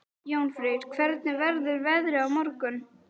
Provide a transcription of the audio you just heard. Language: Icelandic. Jónfríður, hvernig verður veðrið á morgun?